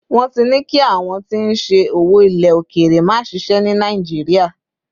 won ti ní kí àwọn tí n ṣe owó ile okere ma ṣiṣẹ ni nàìjíría